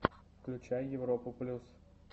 включай европу плюс